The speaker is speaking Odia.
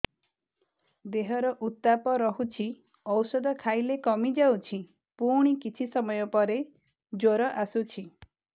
ଦେହର ଉତ୍ତାପ ରହୁଛି ଔଷଧ ଖାଇଲେ କମିଯାଉଛି ପୁଣି କିଛି ସମୟ ପରେ ଜ୍ୱର ଆସୁଛି